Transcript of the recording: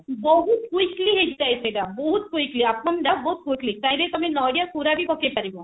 ବହୁତ quickly ହେଇଯାଏ ସେଟା ଅପମ ଟା ବହୁତ quickly ଚାହିଁଲେ ତମେ ନଡିଆ ପୁର ବି ପକେଇ ପାରିବ